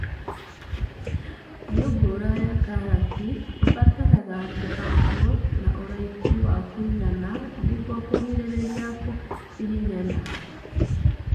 Mĩũngũrwa ya karati ĩbataraga kũhandwo na ũraihu wa kũigana nĩguo kũgirĩrĩria kũhihinyana